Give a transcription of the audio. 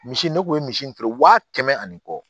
Misi ne kun ye misi in feere wa kɛmɛ ani kɔ